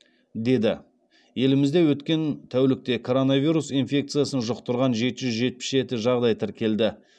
деді елімізде өткен тәулікте коронавирус инфекциясын жұқтырған жеті жүз жетпіс жеті жағдай тіркелді